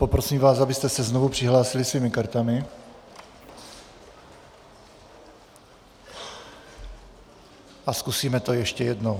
Poprosím vás, abyste se znovu přihlásili svými kartami, a zkusíme to ještě jednou.